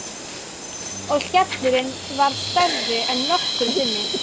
Og skellurinn varð stærri en nokkru sinni.